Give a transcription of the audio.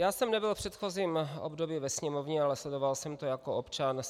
Já jsem nebyl v předchozím období ve Sněmovně, ale sledoval jsem to jako občan.